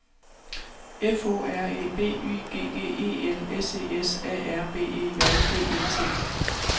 F O R E B Y G G E L S E S A R B E J D E T